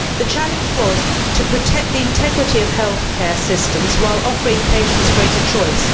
The challenge was to protect the integrity of healthcare systems while offering patients greater choice.